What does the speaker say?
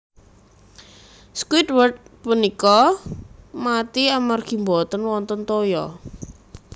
Squidward punika mati amargi boten wonten toya